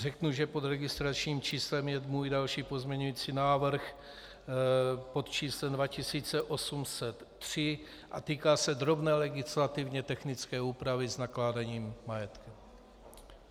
Řeknu, že pod registračním číslem je můj další pozměňovací návrh, pod číslem 2803, a týká se drobné legislativně technické úpravy s nakládáním majetku.